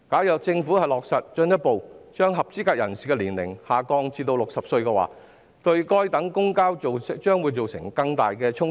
若政府落實把合資格人士的年齡進一步下調至60歲，對該等公共交通將會造成更大的衝擊。